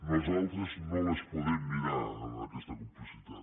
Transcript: nosaltres no les podem mirar amb aquesta complicitat